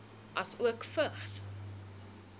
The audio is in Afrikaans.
asook vigs